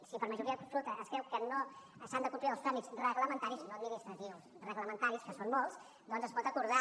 si per majoria absoluta es creu que no s’han de complir els tràmits reglamentaris no administratius reglamentaris que són molts doncs es pot acordar